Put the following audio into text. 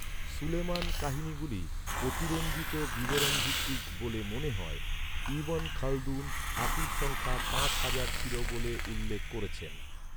সুলেইমানের কাহিনীগুলি অতিরঞ্জিত বিবরণ ভিত্তিক বলে মনে হয়; ইব্‌ন খালদুন হাতির সংখ্যা পাঁচ হাজার ছিল বলে উল্লেখ করেছেন।